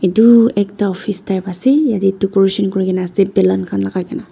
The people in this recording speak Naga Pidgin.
Etu ekta office type ase yatae decoration kurikaenae ase balloon khan lakai kaena --